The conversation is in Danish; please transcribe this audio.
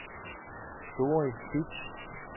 Doris Bitsch